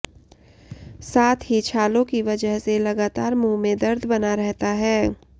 साथ ही छालों की वजह से लगातार मुंह में दर्द बना रहता है